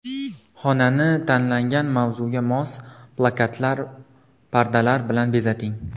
Xonani tanlangan mavzuga mos plakatlar, pardalar bilan bezating.